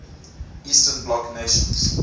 eastern bloc nations